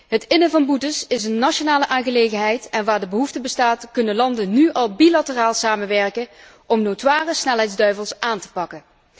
Het innen van boetes is een nationale aangelegenheid en waar de behoefte bestaat, kunnen landen nu al bilateraal samenwerken om notoire snelheidsduivels aan te pakken.